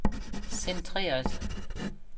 centreret